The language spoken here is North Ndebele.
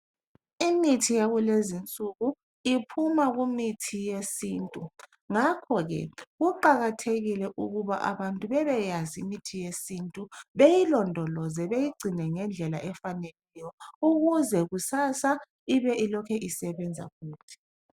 Imithi yakulezi insuku iphuma kumithi yesintu, ngakho ke kuqakathekile ukuba abantu bebe yazi imithi yesintu, beyilondoloze, beyigcine ngendlela efaneleyo, ukuze kusasa ibe ilokhe isebenza futhi.